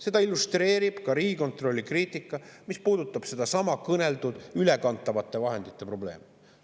Seda illustreerib ka Riigikontrolli kriitika, mis puudutab sedasama mainitud ülekantavate vahendite probleemi.